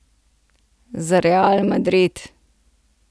Za Real Madrid.